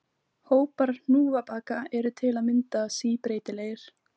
Hópar hnúfubaka eru til að mynda síbreytilegir.